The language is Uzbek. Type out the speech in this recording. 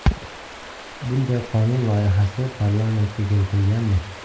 Bunday qonun loyihasi parlamentga kiritilganmi?